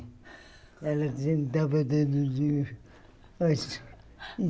Ela antes.